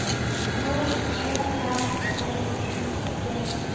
H E R L I G